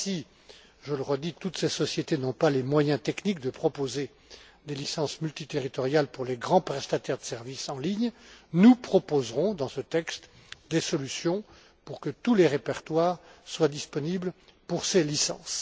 Même si, je le redis, toutes ces sociétés n'ont pas les moyens techniques de proposer des licences multiterritoriales pour les grands prestataires de services en ligne, nous proposerons, dans ce texte, des solutions pour que tous les répertoires soient disponibles pour ces licences.